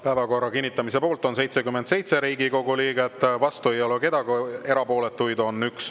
Päevakorra kinnitamise poolt on 77 Riigikogu liiget, vastu ei ole keegi, erapooletuid on 1.